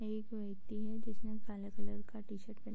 एक व्यक्ति है जिसने काला कलर का टी-शर्ट पहना --